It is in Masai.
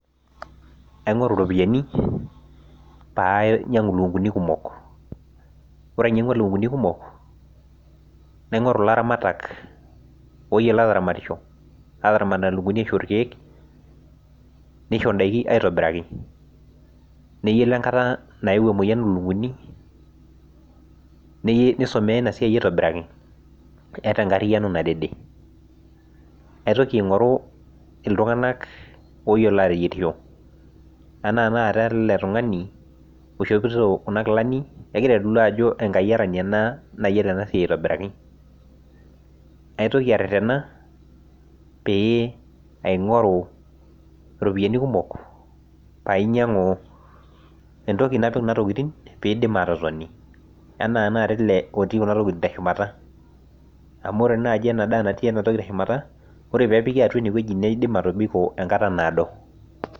Aingoru ropiyiani pee ainyangu lukunkuni kumok, ore ainyangua lukunkuni kumok, naingoru laramatak oyiolo ataramat nena lukunkuni aishoo rkeek, nishori endaa aitobiraki ,neyiolo enkata naeuo emoyian olukunkuni nisumiya ina siai aitobiraki ,eeta enkariano nadede. naitoki aingoru iltunganak oyiolo ateyierisho enaa tenakata ele tungani oishopito Kuna kilani ,egira aitodolu ajo enkayiarani ena nayiolo ena siai aitobiraki ,naitoki aretena aingoru ropiyiani kumok napik Kuna tokiting pee eidim atotoni enaa tinakata ele otii Kuna tokiting teshumata ,amu ore naaji ena daa natii enatoki teshumata ore pee epiki atua ineweji neidim atobiko enkata naado.